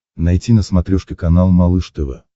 найти на смотрешке канал малыш тв